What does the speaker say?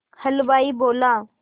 हलवाई बोला